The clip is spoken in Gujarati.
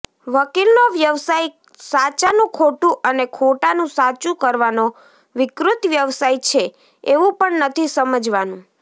વકીલનો વ્યવસાય સાચાનું ખોટું અને ખોટાનું સાચું કરવાનો વિકૃત વ્યવસાય છે એવું પણ નથી સમજવાનું